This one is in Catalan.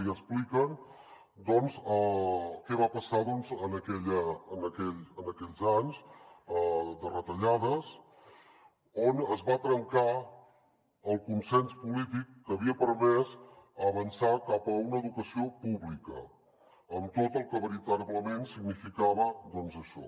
i expliquen què va passar en aquells anys de retallades on es va trencar el consens polític que havia permès avançar cap a una educació pública amb tot el que veritablement significava això